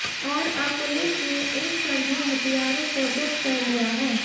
और अब पुलिस ने इन सभी हथियारों को ज़ब्त कर लिया है